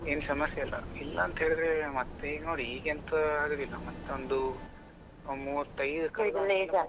ಏನು ಸಮಸ್ಯೆ ಇಲ್ಲಾ, ಇಲ್ಲ ಅಂತೇಳಿದ್ರೆ ಮತ್ತೆ ನೋಡಿ ಈಗ ಎಂತಾ ಆಗುದಿಲ್ಲ ಮತ್ತೆ ಒಂದು ಮೂವತ್ತೈದು ಕಳೆದ ಮೇಲೆ .